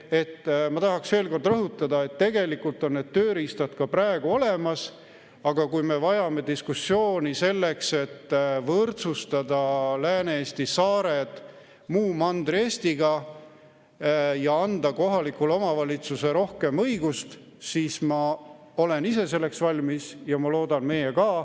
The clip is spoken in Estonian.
Ma tahan veel kord rõhutada, et tegelikult on need tööriistad ka praegu olemas, aga kui me vajame diskussiooni selleks, et võrdsustada Lääne-Eesti saared Mandri-Eestiga ja anda kohalikule omavalitsusele rohkem õigust, siis ma olen selleks valmis ja ma loodan, et teie ka.